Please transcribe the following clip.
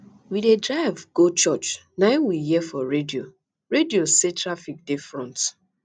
we dey drive dey go church na im we hear for radio radio say traffic dey for front